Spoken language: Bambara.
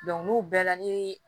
n'u bɛɛ la ni